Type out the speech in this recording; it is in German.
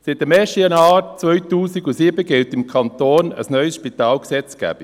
Seit dem 1. Januar 2007 gilt im Kanton eine neue Spitalgesetzgebung.